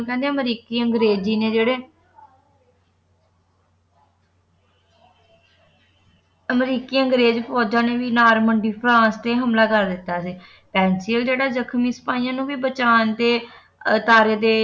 ਕਹਿੰਦੇ ਅਮਰੀਕੀ ਅੰਗਰੇਜ਼ੀ ਨੇ ਜਿਹੜੇ ਅਮਰੀਕੀ ਅੰਗਰੇਜ ਫੋਜਾਂ ਨੇ ਵੀ ਨਾਰਮੰਡੀ ਫਰਾਂਸ ਤੇ ਹਮਲਾ ਕਰ ਦਿੱਤਾ ਸੀ ਪੇਂਸਿਲੀਨ ਜਿਹੜਾ ਜਖਮੀ ਸਿਪਾਹੀਆਂ ਨੂੰ ਵੀ ਬਚਾਉਣ ਦੇ ਅਦਾਰੇ ਦੇ